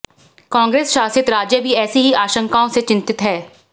कांग्रेस शासित राज्य भी ऐसी ही आशंकाओं से चिंतित हैं